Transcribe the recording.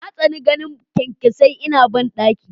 Na tsani ganin kyankyasai ina bandaki.